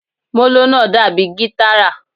Molo náá dabi gitára